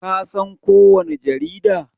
Ka san ko wani jarida?